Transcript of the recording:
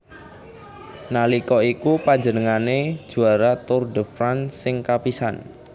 Nalika iku panjenengane juara Tour de France sing kapisan